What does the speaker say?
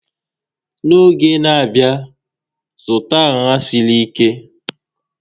N'oge n'abia, zụta nha siri ike